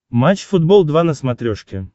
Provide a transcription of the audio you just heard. матч футбол два на смотрешке